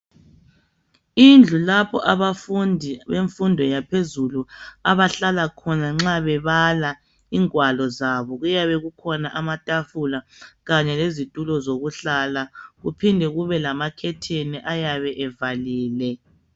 Indlu lapho abafundi bemfundo yephezulu abahlala khona nxa bebala ingwalo zabo kuyabe kukhona amatafula kanye lezitulo zokuhlala kuphinde kube lamakhetheni ayabe bevalile.